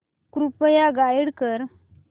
कृपया गाईड कर